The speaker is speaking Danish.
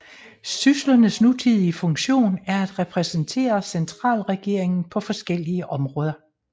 Syslernes nutidige funktion er at repræsentere centralregeringen på forskellige områder